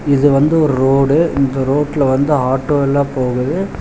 இது வந்து ரோடு இந்த ரோட்ல வந்து ஆட்டோ எல்லா போகுது.